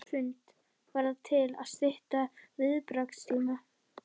Hrund: Var það til að stytta viðbragðstíma?